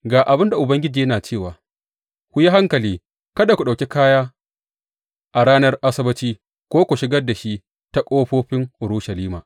Ga abin da Ubangiji yana cewa, ku yi hankali kada ku ɗauki kaya a ranar Asabbaci ko ku shigar da shi ta ƙofofin Urushalima.